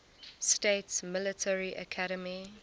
states military academy